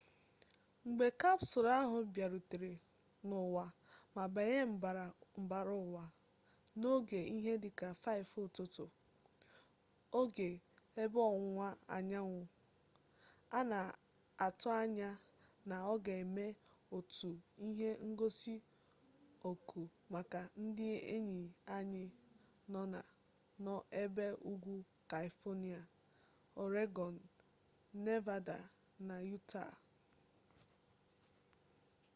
mgbe kapsụlụ ahụ bịarutere n’ụwa ma banye mbara ụwa n’oge ihe dị ka 5 ụtụtụ oge ebe ọwụwa anyanwụ a na-atụanya na ọ ga-eme otu ihe ngosi ọkụ maka ndị enyi anyị nọ na ebe ugwu kaifonịa ọregọn nevada na yutaa